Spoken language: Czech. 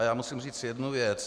A já musím říct jednu věc.